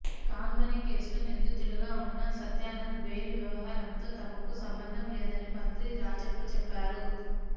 call money కేసులో నిందితుడిగా ఉన్న సత్యానంద్ బెయిల్ వ్యవహారంతో తమకు సంబంధం లేదని మంత్రి రాజప్ప చెప్పారు